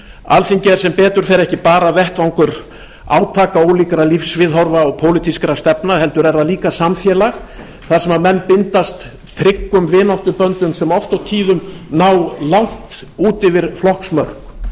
alþingi er sem betur fer ekki bara vettvangur átaka ólíkra lífsviðhorfa og pólitískra stefna heldur er það líka samfélag þar sem menn bindast tryggum vináttuböndum sem oft á tíðum ná langt út yfir flokksmörk